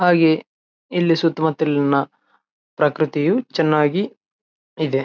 ಹಾಗೆ ಇಲ್ಲಿ ಸುತ್ತಮುತ್ತಲಿನ ಪ್ರಕೃತಿಯು ಚನ್ನಾಗಿ ಇದೆ.